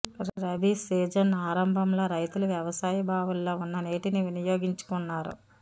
rabi season ఆరంభంలో రైతుల వ్యవసాయ బావుల్లో ఉన్న నీటిని వినియోగించుకున్నారు